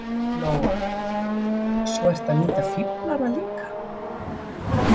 Lóa: Og svo ertu að nýta fíflana líka?